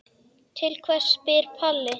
Til hvers spyr Palli.